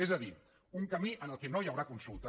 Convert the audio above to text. és a dir un camí en què no hi haurà consulta